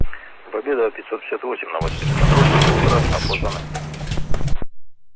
победа пятьсот пятьдесят восемь новосибирск контроль доброе утро опознаны